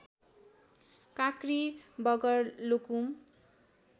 काँक्री बगर लुकुम